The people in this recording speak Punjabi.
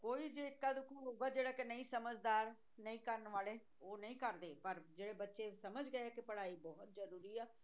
ਕੋਈ ਜੇ ਇੱਕਾ ਦੂਕਾ ਹੋਊਗਾ ਜਿਹੜਾ ਕਿ ਨਹੀਂ ਸਮਝਦਾ ਨਹੀਂ ਕਰਨ ਵਾਲੇ ਉਹ ਨਹੀਂ ਕਰਦੇ ਪਰ ਜਿਹੜੇ ਬੱਚੇ ਸਮਝ ਗਏ ਕਿ ਪੜ੍ਹਾਈ ਬਹੁਤ ਜ਼ਰੂਰੀ ਆ